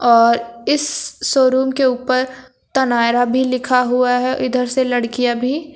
और इस शोरूम के ऊपर तनायरा भी लिखा हुआ है इधर से लड़कियां भी--